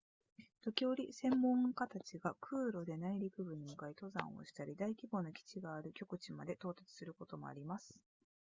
時折専門家たちが空路で内陸部に向かい登山をしたり大規模な基地がある極地まで到達することもあります